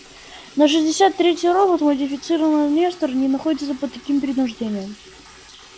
но шестьдесят третий робот модифицированный нестор не находится под таким принуждением